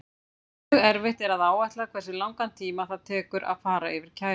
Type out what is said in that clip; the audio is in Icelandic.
Mjög erfitt er að áætla hversu langan tíma það tekur að fara yfir kæruna.